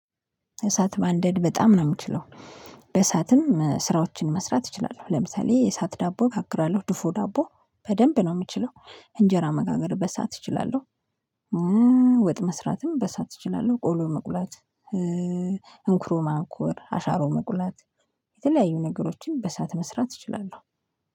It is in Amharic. እሳት ማንደድ በጣም ነው እምችለው በእሳትም ስራዎችን መስራት እችላለሁ። ለምሳሌ የእሳት ዳቦ እገግራለሁ ድፎ ዳቦ በደንብ ነው የምችለው እንጀራ መጋገር በሰአት እችላለሁ። ወጥ መስራትም በእሳት እችላለሁ ቆሎ መቁላት። እንክሮ ማንኮር አሻሮ መቁላት የተለያዩ ነገሮችን በእሳት መስራት እችላለሁ።